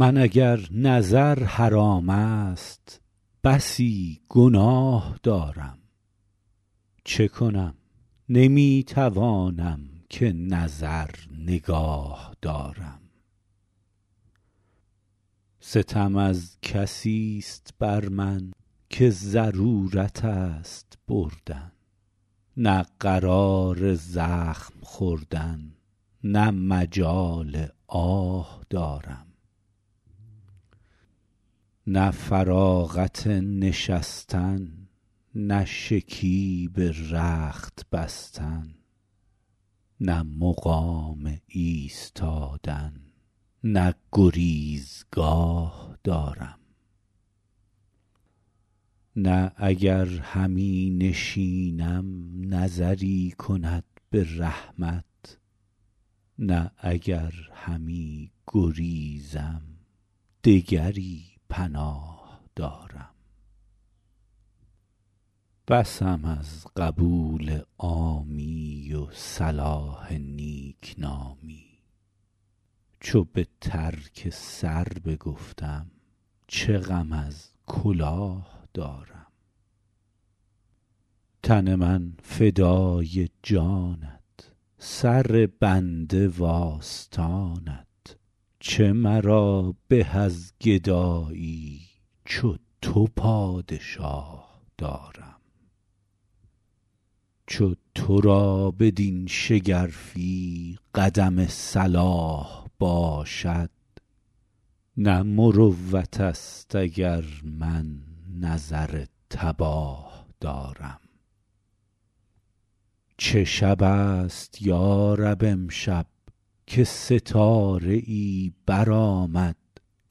من اگر نظر حرام است بسی گناه دارم چه کنم نمی توانم که نظر نگاه دارم ستم از کسیست بر من که ضرورت است بردن نه قرار زخم خوردن نه مجال آه دارم نه فراغت نشستن نه شکیب رخت بستن نه مقام ایستادن نه گریزگاه دارم نه اگر همی نشینم نظری کند به رحمت نه اگر همی گریزم دگری پناه دارم بسم از قبول عامی و صلاح نیکنامی چو به ترک سر بگفتم چه غم از کلاه دارم تن من فدای جانت سر بنده وآستانت چه مرا به از گدایی چو تو پادشاه دارم چو تو را بدین شگرفی قدم صلاح باشد نه مروت است اگر من نظر تباه دارم چه شب است یا رب امشب که ستاره ای برآمد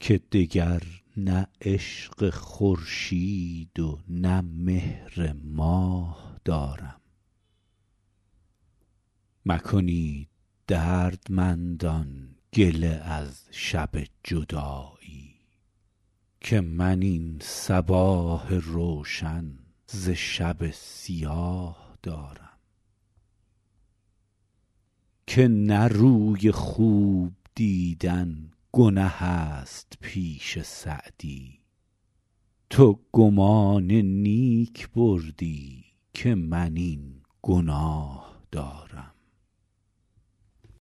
که دگر نه عشق خورشید و نه مهر ماه دارم مکنید دردمندان گله از شب جدایی که من این صباح روشن ز شب سیاه دارم که نه روی خوب دیدن گنه است پیش سعدی تو گمان نیک بردی که من این گناه دارم